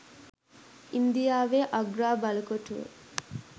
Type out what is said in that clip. ඉන්දියාවේ අග්‍රා බලකොටුව